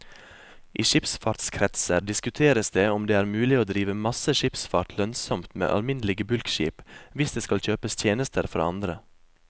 I skipsfartskretser diskuteres det om det er mulig å drive masse skipsfart lønnsomt med alminnelige bulkskip, hvis det skal kjøpes tjenester fra andre.